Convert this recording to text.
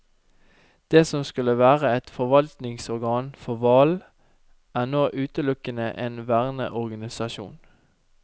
Det som skulle være et forvaltningsorgan for hval, er nå utelukkende en verneorganisasjon.